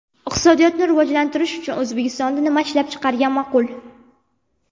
Iqtisodiyotni rivojlantirish uchun O‘zbekistonda nima ishlab chiqargan ma’qul?.